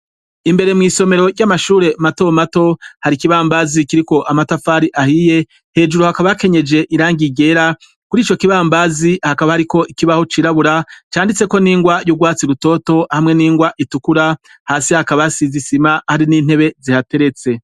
imbere mu isomero ry'amashure mato mato hari ikibambazi kiri ko amatafari ahiye hejuru hakaba akenyeje irangigera kuri icyo kibambazi hakaba hari ko ikibaho cirabura canditse ko n'ingwa y'ubwatsi rutoto hamwe n'ingwa itukura hasi hakabasi zisima hari n'intebe zihateretse